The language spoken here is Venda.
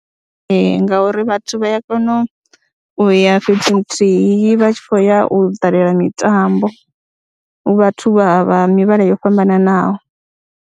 Ee, ngauri vhathu vha ya kona u ya fhethu huthihi vha tshi khou ya u ṱalela mitambo, hu vhathu vha vha mivhala yo fhambananaho.